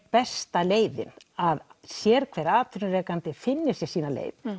besta leiðin að sérhver atvinnurekandi finni sína leið